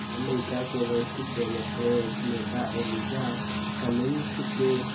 अमरीका के वरिष्ठ डेमोक्रेट नेता एलिजा कमिंग्स के